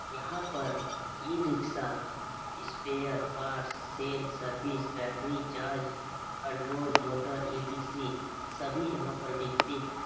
यहाँ पर e rickshaw spare parts sale service battery charge control motor E T C सभी यहां पर बिकते है।